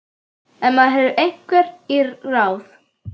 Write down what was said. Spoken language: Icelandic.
En maður hefur einhver ráð.